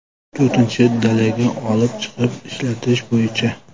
To‘rtinchi dalaga olib chiqib ishlatish bo‘yicha.